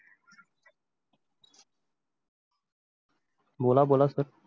बोला बोला सर.